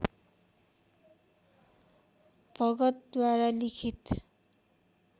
भगतद्वारा लिखित